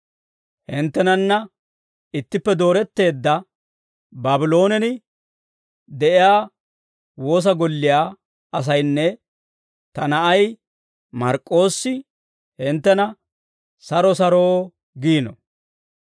Hinttenana ittippe dooretteedda Baabloonen de'iyaa woosa golliyaa asaynne ta na'ay Mark'k'oossi hinttena «Saro saro» giino.